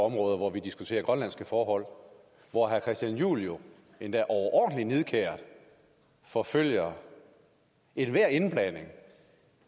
områder hvor vi diskuterer grønlandske forhold og hvor herre christian juhl jo endda overordentlig nidkært forfølger ethver indblanding